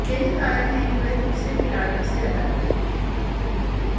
यही कारण है कि वह दूसरे खिलाड़ियों से अलग हैं